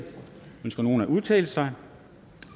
ønsker nogen at udtale sig